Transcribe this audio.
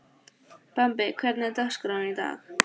Bambi, hvernig er dagskráin í dag?